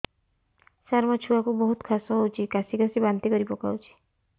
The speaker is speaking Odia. ସାର ମୋ ଛୁଆ କୁ ବହୁତ କାଶ ହଉଛି କାସି କାସି ବାନ୍ତି କରି ପକାଉଛି